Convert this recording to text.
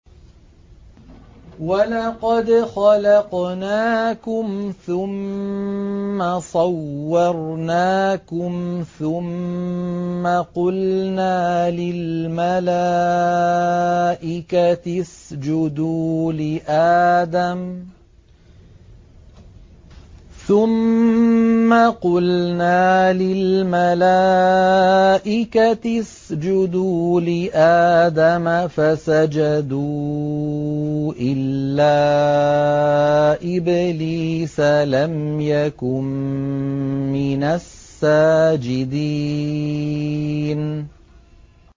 وَلَقَدْ خَلَقْنَاكُمْ ثُمَّ صَوَّرْنَاكُمْ ثُمَّ قُلْنَا لِلْمَلَائِكَةِ اسْجُدُوا لِآدَمَ فَسَجَدُوا إِلَّا إِبْلِيسَ لَمْ يَكُن مِّنَ السَّاجِدِينَ